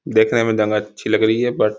देखने में जगह अच्छी लग रही है बट --